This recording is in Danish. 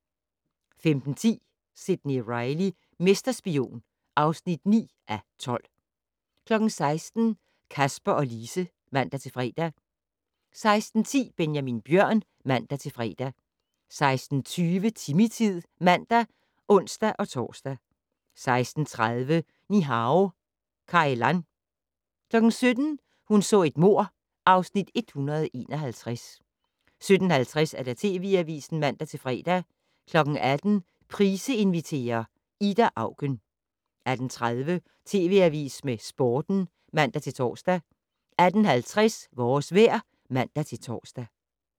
15:10: Sidney Reilly - mesterspion (9:12) 16:00: Kasper og Lise (man-fre) 16:10: Benjamin Bjørn (man-fre) 16:20: Timmy-tid (man og ons-tor) 16:30: Ni-Hao Kai Lan 17:00: Hun så et mord (Afs. 151) 17:50: TV Avisen (man-fre) 18:00: Price inviterer - Ida Auken 18:30: TV Avisen med Sporten (man-tor) 18:50: Vores vejr (man-tor)